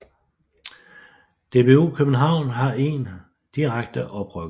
DBU København har 1 direkte oprykker